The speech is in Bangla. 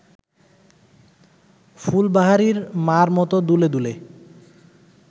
ফুলবাহারির মা’র মত দুলে দুলে